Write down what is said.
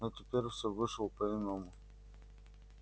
но теперь всё вышло по иному